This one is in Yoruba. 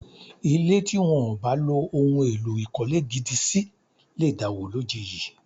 Ilé tí wọ́n ò bá lo ohun èlò ìkọ́lé gidi sí lè dàwó lójijì